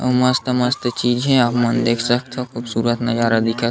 मस्त - मस्त चीज़ हे आप मन देख सकथो खूबसूरत नज़ारा दिखत --